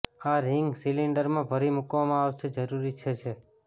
આ રિંગ સિલીંડરમાં ભરી મૂકવામાં આવશે જરૂરી છે છે